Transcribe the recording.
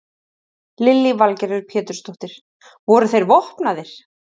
Lillý Valgerður Pétursdóttir: Voru þeir vopnaðir?